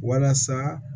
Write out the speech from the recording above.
Walasa